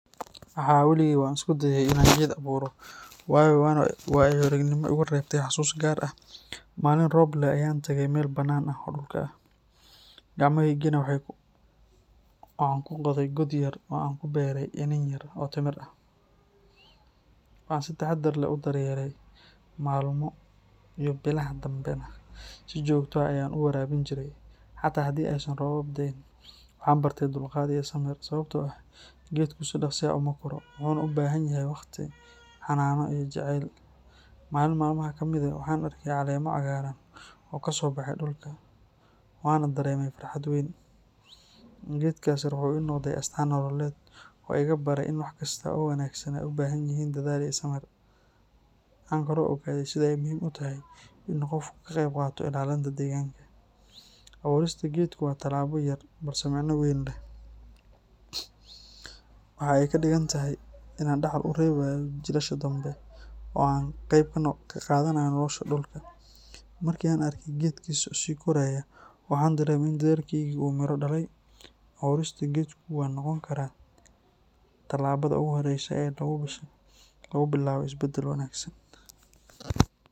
Haa, weligay waan isku dayay in aan geed abuuro, waana waayo-aragnimo igu reebtay xusuus gaar ah. Maalin roob leh ayaan tagay meel bannaan ah oo dhulka ah, gacmohaygana waxaan ku qoday god yar oo aan ku beeray iniin yar oo timir ah. Waxaan si taxadar leh u daryeelay, maalmo iyo bilaha dambena si joogto ah ayaan u waraabin jiray, xataa haddii aysan roobab da’in. Waxaan bartay dulqaad iyo samir, sababtoo ah geedku si dhaqso ah uma koro, wuxuuna u baahan yahay waqti, xannaano iyo jacayl. Maalin maalmaha ka mid ah, waxaan arkay caleemo cagaaran oo ka soo baxay dhulka, waana dareemay farxad weyn. Geedkaas yar wuxuu ii noqday astaan nololeed oo iga baray in wax kasta oo wanaagsan ay u baahan yihiin dadaal iyo samir. Waxaan kaloo ogaaday sida ay muhiim u tahay in qofku ka qayb qaato ilaalinta deegaanka. Abuurista geedku waa tallaabo yar, balse micno weyn leh. Waxa ay ka dhigan tahay in aan dhaxal u reebayo jiilasha dambe, oo aan ka qayb qaadanayo nolosha dhulka. Markii aan arkay geedkii oo sii koreya, waxaan dareemay in dadaalkaygii uu midho dhalay. Abuurista geeddu waxay noqon kartaa tallaabada ugu horreysa ee lagu bilaabo isbedel wanaagsan.